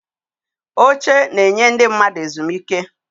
Oche na-enye ndị mmadụ ezumike.